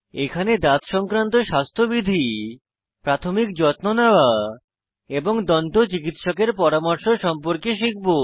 এখানে দাঁত সংক্রান্ত স্বাস্থ্যবিধি প্রাথমিক যত্ন নেওয়া এবং দন্ত চিকিৎসকের পরামর্শ সম্পর্কে শিখব